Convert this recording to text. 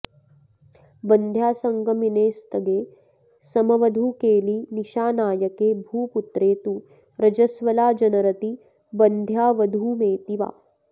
बन्ध्यासङ्गमिनेऽस्तगे समवधूकेलि निशानायके भूपुत्रे तु रजस्वलाजनरति बन्ध्यावधूमेति वा